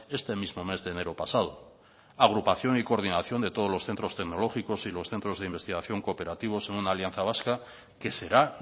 este mismo mes de enero pasado agrupación y coordinación de todos los centros tecnológicos y los centro de investigación cooperativos en una alianza vasca que será